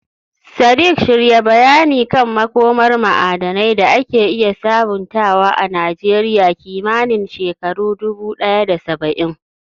Sadiq, shirya bayani kan makomar ma'adanai da ake iya sabuntawa a Najeriya kimanin shekaru 1070.